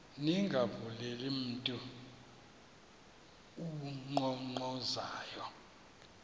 ningavuleli mntu unkqonkqozayo